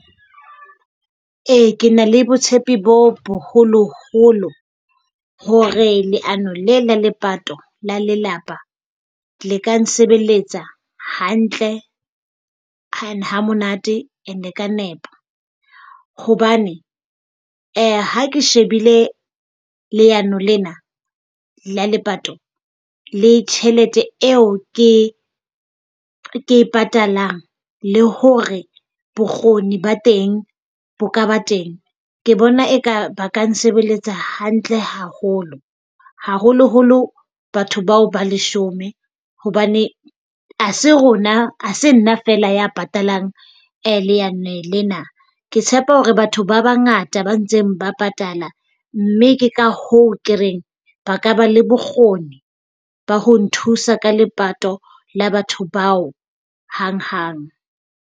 Ee, ke na le botshepi bo boholo-holo hore leano le la lepato la lelapa le ka nsebeletsa hantle and ha monate and ka nepo. Hobane ha ke shebile leano lena la lepato le tjhelete eo ke ke e patalang le hore bokgoni ba teng bo ka ba teng. Ke bona eka ba ka nsebeletsa hantle haholo, haholoholo batho bao ba leshome hobane ha se rona ha se nna fela ya patalang leano lena. Ke tshepa hore batho ba bangata ba ntseng ba patala, mme ke ka hoo ke reng ba ka ba le bokgoni ba ho nthusa ka lepato la batho bao hang-hang.